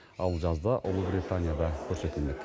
ал жазда ұлыбританияда көрсетілмек